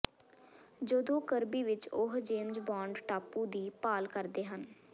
ਜਦੋਂ ਕਰਬੀ ਵਿਚ ਉਹ ਜੇਮਜ਼ ਬੰਡ ਟਾਪੂ ਦੀ ਭਾਲ ਕਰਦੇ ਹਨ